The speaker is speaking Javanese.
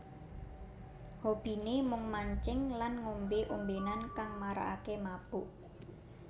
Hobine mung mancing lan ngombe ombenan kang marakake mabuk